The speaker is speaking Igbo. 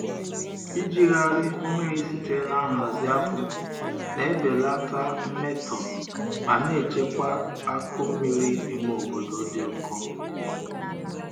Ijigharị mmiri sitere na nhazi akpụ na-ebelata mmetọ ma na-echekwa akụ mmiri ime obodo dị ụkọ.